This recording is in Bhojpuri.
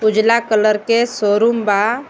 उजला कलर के शोरूम बा.